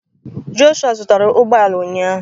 Joshua zụtara ụgbọ ala ụnyahụ